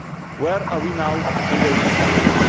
Where are we now in those discussions?